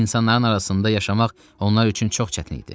İnsanların arasında yaşamaq onlar üçün çox çətin idi.